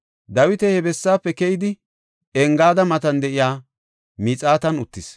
Dawiti he bessaafe keyidi, Engaada matan de7iya miixatan uttis.